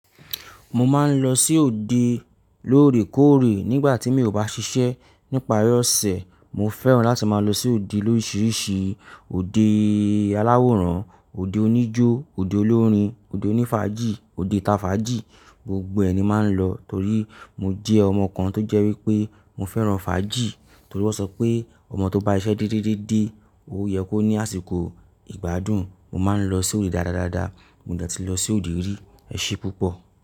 Mo máa ń lọ sí òde lóòrèkóòrè nígbà tí mi ò bá ṣiṣẹ́. Nípari ọ̀sẹ̀, mo fẹ́ràn láti máa lọ sí òde lorisirisi, òde alaworan, òde onijo, òde olorin, òde onifaji, òde ita faji, gbogbo ẹ̀ ni máa ń lọ torí mo jẹ́ ọmọ kan tó jẹ́ wípé mo fẹ́ràn faji. Torí wọ́n sọ pé ọmọ tó bá iṣẹ́ dídídídé ó yẹ kó ní àsìkò ìgbádùn. Mo máa ń lọ sí òde dáradára, mo de ti lọ sí òde rí, ẹṣẹ pupọ.